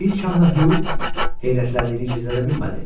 İlk anda Hü heyrətləndiyini gizlədə bilmədi.